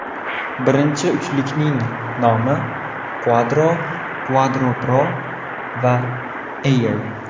Birinchi uchlikning nomi Quadro, Quadro Pro va Air.